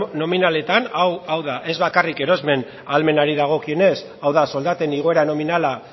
nominaletan hau da ez bakarrik erosmen ahalmenari dagokionez hau da soldaten igoera nominala